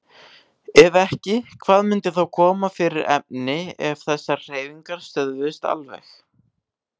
Ef ekki, hvað myndi þá koma fyrir efni ef þessar hreyfingar stöðvuðust alveg?